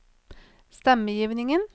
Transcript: stemmegivningen